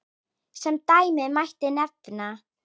Sem dæmi mætti nefna